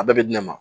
A bɛɛ bɛ di ne ma